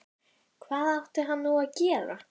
Hvað átti hann nú að gera?